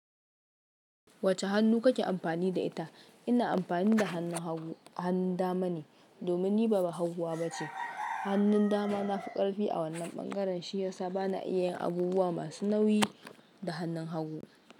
Wace hannu kake amfani da ita? Ina amfanida hannun hagu, hannun damane domin niba bahaguwa ba ce. Hannun dama nafi ƙarfi a wannan ɓangaren, shiyasa bana iya yin abubuwa masu nauyi da hannun hagu.